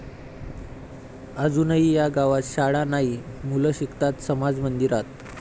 ..अजूनही 'या' गावात शाळा नाही, मुलं शिकतात समाज मंदिरात!